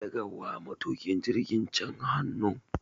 Daga wa matukin jirgin can hannu